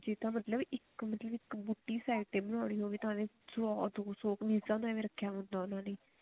ਇਹ ਤਾਂ ਮਤਲਬ ਇੱਕ ਬੂਟੀ ਇੱਕ ਬੂਟੀ side ਤੇ ਬਣਾਉਣੀ ਹੋਵੇ ਸੋ ਦੋ ਸੋ ਕਮੀਜਾਂ ਦਾ ਏਵੇਂ ਰੱਖਿਆ ਹੁੰਦਾ ਉਹਨਾ ਨੇ